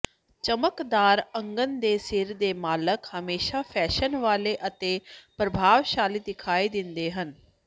ਚਮਕਦਾਰ ਅਗਨ ਦੇ ਸਿਰ ਦੇ ਮਾਲਕ ਹਮੇਸ਼ਾ ਫੈਸ਼ਨ ਵਾਲੇ ਅਤੇ ਪ੍ਰਭਾਵਸ਼ਾਲੀ ਦਿਖਾਈ ਦਿੰਦੇ ਹਨ